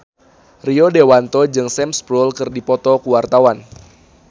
Rio Dewanto jeung Sam Spruell keur dipoto ku wartawan